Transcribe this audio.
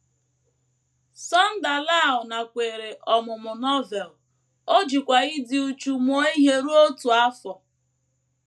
Sunder Lal nakweere ọmụmụ Novel, o jikwa ịdị uchu mụọ ihe ruo otu afọ.